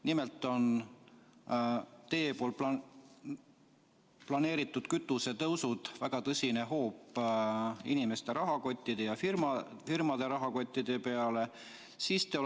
Nimelt on teie planeeritud kütusetõusud väga tõsine hoop inimeste ja firmade rahakottide pihta.